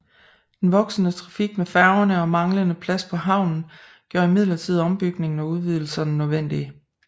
Den voksende trafik med færgerne og manglende plads på havnen gjorde imidlertid ombygninger og udvidelser nødvendige